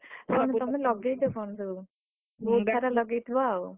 ଆଉ ବାଡିରେ ତମେ ଲଗେଇଛ କଣ ସବୁ? ହୁଁ ମନ୍ଦାର ଲଗେଇଥିବ ଆଉ।